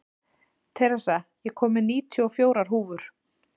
Theresa, ég kom með níutíu og fjórar húfur!